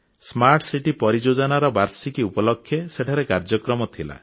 smart city ପରିଯୋଜନାର ବାର୍ଷିକୀ ଉପଲକ୍ଷେ ସେଠାରେ କାର୍ଯ୍ୟକ୍ରମ ଥିଲା